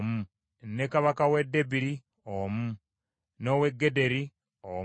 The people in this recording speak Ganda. ne kabaka w’e Debiri omu, n’ow’e Gederi omu,